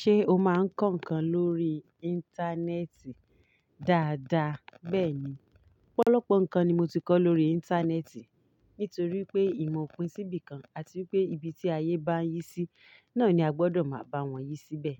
Ṣé o máa ń kọ́ nǹkan lórí Íńtánẹ́ẹ̀tì? Daada, bẹ́ẹ̀ni. Ọ̀pọ̀lọpọ̀ nǹkan ni mo ti kọ́ lórí Íńtánẹ́ẹ̀tì nítorí pé ìmọ̀ pin sí ibìkan àti wípé ibi tí ayé bá yí sí náà ni a gbọ́dọ̀ máa bá wọn yí síbẹ̀.